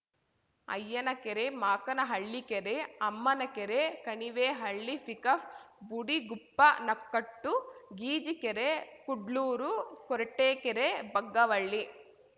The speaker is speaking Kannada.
ಆಯ್ಯನಕೆರೆ ಮಾಕನಹಳ್ಳಿ ಕೆರೆ ಅಮ್ಮನಕೆರೆ ಕಣಿವೇಹಳ್ಳಿ ಪಿಕಪ್‌ ಬುಡಿಗುಪ್ಪನಕಟ್ಟು ಗೀಜಿಕೆರೆ ಕುಡ್ಲೂರು ಕೊರಟೇಕೆರೆ ಬಗ್ಗವಳ್ಳಿ